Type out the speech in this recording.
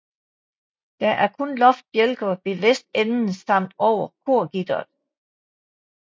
Der er kun loftsbjælker ved vestenden samt over korgitteret